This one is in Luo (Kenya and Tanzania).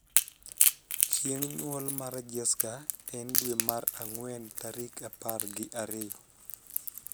chieng nyuol mar jesca en dwe mar angwen tarik apar gi ariyo